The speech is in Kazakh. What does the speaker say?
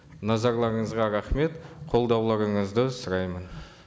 назарларыңызға рахмет қолдауларыңызды сұраймын